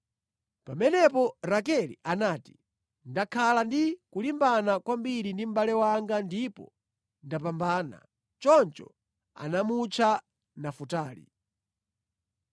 Pamenepo Rakele anati, “Ndakhala ndikulimbana kwambiri ndi mʼbale wanga ndipo ndapambana.” Choncho anamutcha Nafutali.